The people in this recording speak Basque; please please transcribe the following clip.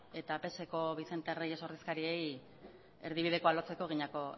eta pseko vicente reyes ordezkariei erdibidekoa lotzeko